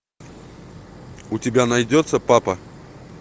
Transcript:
у тебя найдется папа